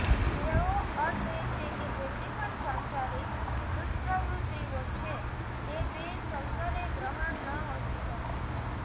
તેઓ અર્થ એ છે કે જેટલી પણ સાંસારીક દુષ્પ્રવૃત્તિઓ છે તેંબે શંકરે ગ્રહણ નહોતી કરી